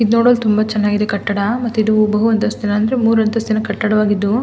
ಇದ್ ನೋಡಲು ತುಂಬಾ ಚೆನ್ನಾಗಿದೆ ಕಟ್ಟಡ ಮತ್ತೆ ಇದು ಬಹು ಅಂತಸ್ತಿನ ಅಂದ್ರೆ ಮೂರೂ ಅಂತಸ್ತಿನ ಕಟ್ಟಡವಾಗಿದ್ದು.